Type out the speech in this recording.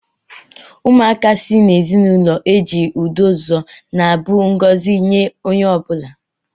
Ụmụaka si n'ezinụlọ ejiri udo zụọ na-abụ ngọzi nye onye ọ bụla.